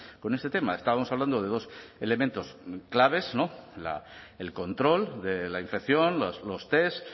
con este tema estábamos hablando de dos elementos claves el control de la infección los test